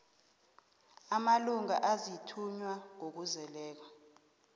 amalunga aziinthunywa ngokuzeleko